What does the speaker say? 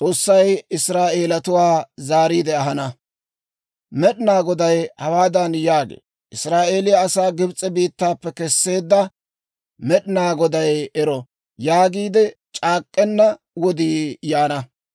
Med'inaa Goday hawaadan yaagee; « ‹Israa'eeliyaa asaa Gibs'e biittaappe kesseedda Med'inaa Goday ero› yaagiide c'aak'k'enna wodii yaana.